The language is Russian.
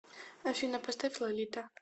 афина поставь лолита